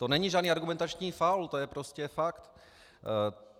To není žádný argumentační faul, to je prostě fakt.